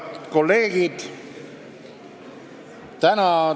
Head kolleegid!